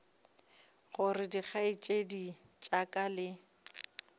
gore dikgaetšedi tša ka le